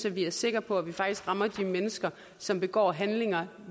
at vi er sikre på at vi faktisk rammer de mennesker som begår handlinger